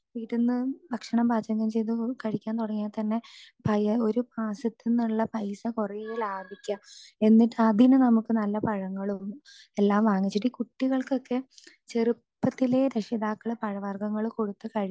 speaker 2 ഇരുന്ന് ഭക്ഷണം പാചകം ചെയ്തത് കഴിക്കാൻ തുടങ്ങിയാൽ തന്നെ പയ്യെ ഒരു ഭാഗത്ത് നിന്നുള്ള പൈസ കുറേ ലാഭിക്കാം എന്നിട്ട് അതിനു നമുക്ക് കുറെ പഴങ്ങളും എല്ലാം വാങ്ങിച്ചിട്ട് ഈ കുട്ടികൾക്കൊക്കെ ചെറുപ്പത്തിലേ രക്ഷിതാക്കൾ പഴവർഗങ്ങൾ കൊടുത്തു